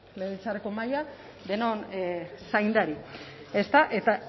legebiltzarreko mahaia denon zaindari eta